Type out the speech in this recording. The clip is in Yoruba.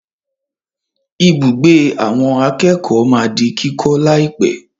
Ibùgbé àwọn akẹ́kọ̀ọ́ máa di kíkọ́ láìpẹ̀.